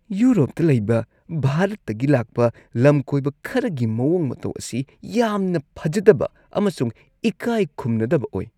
ꯌꯨꯔꯣꯞꯇ ꯂꯩꯕ ꯚꯥꯔꯠꯇꯒꯤ ꯂꯥꯛꯄ ꯂꯝꯀꯣꯏꯕ ꯈꯔꯒꯤ ꯃꯑꯣꯡ ꯃꯇꯧ ꯑꯁꯤ ꯌꯥꯝꯅ ꯐꯖꯗꯕ ꯑꯃꯁꯨꯡ ꯏꯀꯥꯏ ꯈꯨꯝꯅꯗꯕ ꯑꯣꯏ ꯫